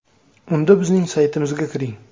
Unda bizning saytimizga kiring: .